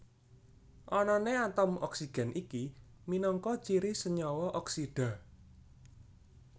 Anané atom oksigen iki minangka ciri senyawa oksida